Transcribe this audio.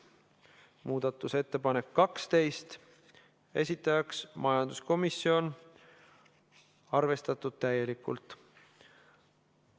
Muudatusettepanek nr 12, esitajaks majanduskomisjon, arvestatud täielikult.